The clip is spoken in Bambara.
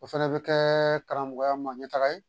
O fɛnɛ bɛ kɛ karamɔgɔya ma ɲɛ taga ye